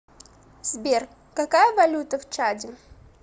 сбер какая валюта в чаде